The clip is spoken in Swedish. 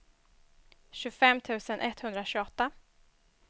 tjugofem tusen etthundratjugoåtta